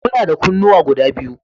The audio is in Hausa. Muna da kunnuwa guda biyu